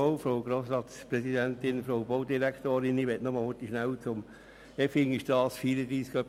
Ich möchte nur kurz etwas zur Effingerstrasse 34 sagen.